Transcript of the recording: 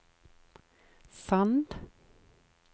Sand